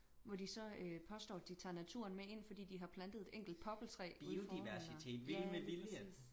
Hvor de så øh påstår at de tager naturen med ind fordi de har plantet et enkelt poppeltræ uden for eller